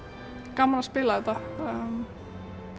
gaman að spila þetta